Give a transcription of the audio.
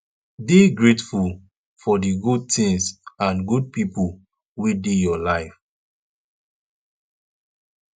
dey grateful for di good things and good pipo wey dey your life